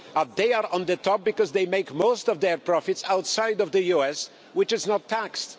They are on the top because they make most of their profits outside the US, which is not taxed.